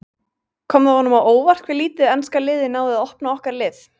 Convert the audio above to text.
Kom það honum á óvart hve lítið enska liðið náði að opna okkar lið?